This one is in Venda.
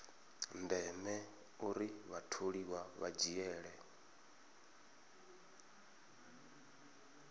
ndeme uri vhatholiwa vha dzhiele